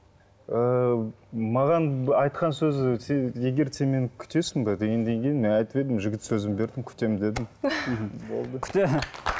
ыыы маған айтқан сөзі сен егер сен мені күтесің бе дегеннен кейін мен айтып едім жігіт сөзін бердім күтемін дедім болды